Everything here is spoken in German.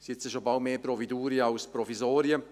Bald sind sie mehr «Providurien» als Provisorien.